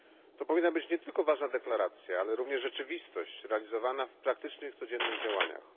To powinna być nie tylko ważna deklaracja, ale również rzeczywistość realizowana w praktycznych, codziennych działaniach.